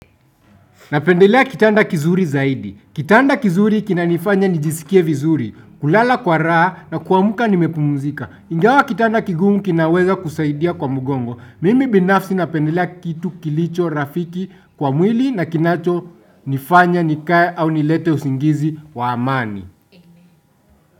Napendelea kitanda kizuri zaidi. Kitanda kizuri kinanifanya nijisikie vizuri. Kulala kwa raha na kuamka nimepumuzika. Ingawa kitanda kigumu kinaweza kusaidia kwa mugongo. Mimi binafsi napendelea kitu kilicho rafiki kwa mwili na kinacho nifanya nikae au nilete usingizi wa amani.